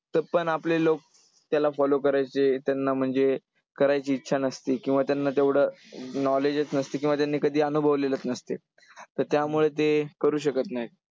पण आपले लोक त्याला follow करायचे, त्यांना म्हणजे करायची इच्छा नसते किंवा त्यांना तेवढं knowledge च नसते किंवा त्यांनी कधी अनुभवलेलंच नसते. तर त्यामुळे ते करू शकत नाही.